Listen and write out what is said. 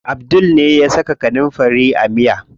Abdul ne ya saka kanunfari a miya.